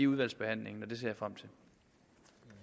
udvalgsbehandlingen og det ser